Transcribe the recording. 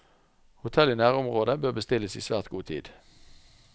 Hotell i nærområdet bør bestilles i svært god tid.